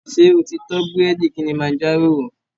Ṣo ti tọ búrẹ́dì Kilimanjaro wò?